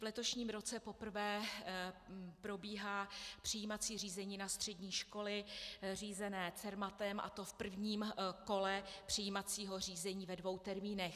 V letošním roce poprvé probíhá přijímací řízení na střední školy řízené Cermatem, a to v prvním kole přijímacího řízení ve dvou termínech.